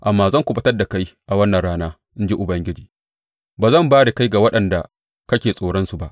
Amma zan kuɓutar da kai a wannan rana, in ji Ubangiji; ba zan ba da kai ga waɗanda kake tsoronsu ba.